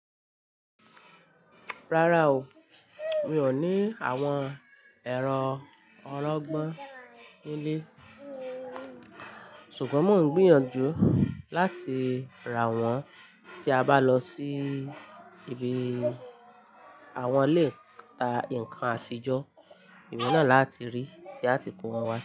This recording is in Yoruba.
Rárá o, mi ò ní àwọn ẹ̀rọ ọrọ̀gbọ́n nílé. Ṣùgbọ́n mò ń gbìyànjú láti ra wọ́n tí a bá lọ sí ibi àwọn ilé ìta nǹkan àtijọ́. Ìgbà náà la ti rí tíátì kó wọn wá sí.